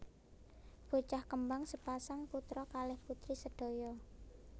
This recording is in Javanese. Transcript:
Bocah kembang sepasang putra kalih putri sedaya